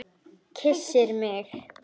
Kyssir mig.